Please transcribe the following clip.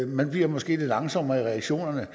man bliver måske lidt langsommere i reaktionerne